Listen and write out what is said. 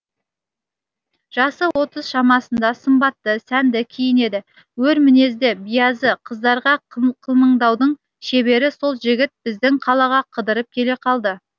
жасы отыз шамасында сымбатты сәнді киінеді өр мінезді биязы қыздарға қылмаңдаудың шебері сол жігіт біздің қалаға қыдырып келе қалды